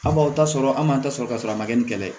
An b'aw ta sɔrɔ an m'an ta sɔrɔ ka sɔrɔ a ma kɛ ni kɛlɛ ye